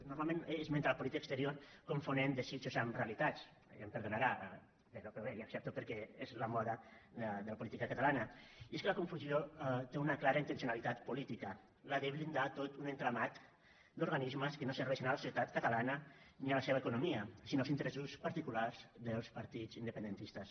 normalment ell esmenta la política exterior confonent desitjos amb realitats ja em perdonarà però bé li ho accepto perquè és la moda de la política catalana i és que la confusió té una clara intencionalitat política la de blindar tot un entramat d’organismes que no serveixen a la societat catalana ni a la seva economia sinó als interessos particulars dels partits independentistes